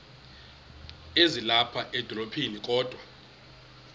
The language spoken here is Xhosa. ezilapha edolophini kodwa